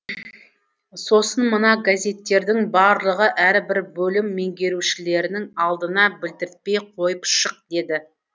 сосын мына газеттердің барлығын әрбір бөлім меңгерушілерінің алдына білдіртпей қойып шық деді